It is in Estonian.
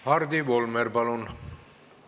Hardi Volmer, palun!